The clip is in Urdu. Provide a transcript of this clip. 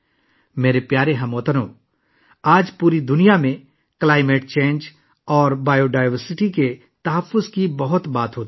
میرے پیارے ہم وطنو، آج پوری دنیا میں موسمیاتی تبدیلی اور حیاتیاتی تنوع کے تحفظ کے بارے میں بہت بات ہو رہی ہے